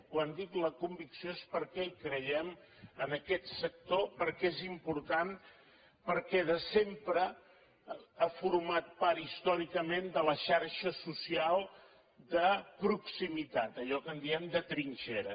quan dic la convicció és perquè hi creiem en aquest sector perquè és important perquè de sempre ha format part històricament de la xarxa social de proximitat d’allò que en diem de trinxera